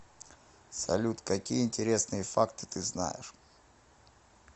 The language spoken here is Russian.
салют какие интересные факты ты знаешь